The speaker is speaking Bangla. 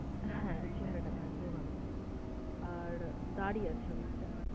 হ্যাঁ চেহারাটা ভারী, রোগ নয় আর দাড়ি আছে অনেকটা।